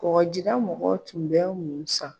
Mɔgɔdira mɔgɔ tun bɛ mun san?